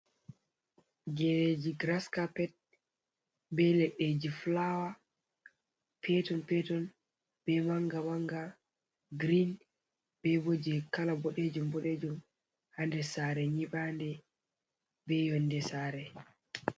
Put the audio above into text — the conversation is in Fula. Jereji grascappet be leɗɗeji flawer peton peton be manga manga green, ɓebo je kala boɗejum boɗejum hander sare nyiɓande be yonde sare.